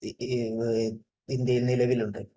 ഇന്ത്യയിൽ നിലവിലുണ്ട്